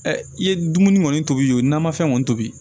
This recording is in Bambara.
i ye dumuni kɔni tobi namafɛn kɔni tobi